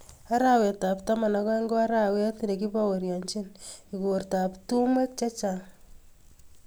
arawetab taman ak aeng ko arawet nekibaorienjin ikortab tumwek chechang